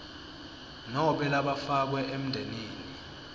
nobe labafakwe emndenini